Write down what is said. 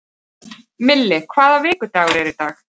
Milli, hvaða vikudagur er í dag?